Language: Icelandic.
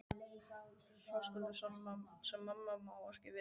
Höskuldur: Sem mamma má ekki vita um?